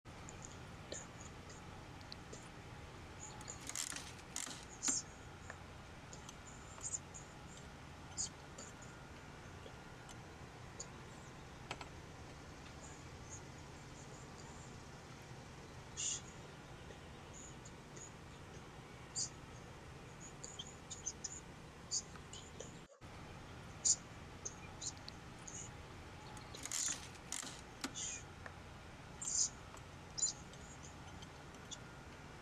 dawarooti niwaawennita lame qara assaawe qolootto a e sayikkitano ledde kulate wo naalatto Kaa looshshu Uduunne Itophiyu giddo noo rosi minna gari jiro noonsakki daafo rosiisaanote rosiisaanote biddissi kolishshu saleedinna chooke.